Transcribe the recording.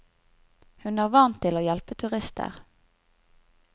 Hun er vant til å hjelpe turister.